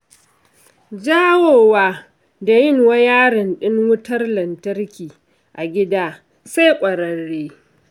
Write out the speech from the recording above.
Jawowa da yin wayarin ɗin wutar lantarki a gida sai ƙwararre.